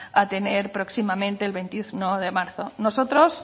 a tener próximamente el veintiuno de marzo nosotros